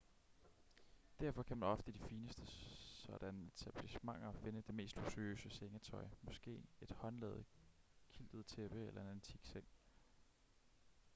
derfor kan man ofte i de fineste sådanne etablissementer finde det mest luksuriøse sengetøj måske et håndlavet quiltet tæppe eller en antik seng